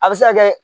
A bɛ se ka kɛ